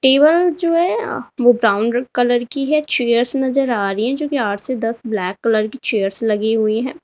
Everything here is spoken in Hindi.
टेबल जो है वो ब्राउन कलर की है चेयर्स नजर आ रही हैं जो कि आठ से दस ब्लैक कलर की चेयर्स लगी हुई हैं।